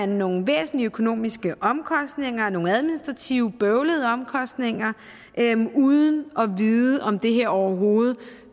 nogle væsentlige økonomiske omkostninger og nogle administrativt bøvlede omkostninger uden at vide om det her overhovedet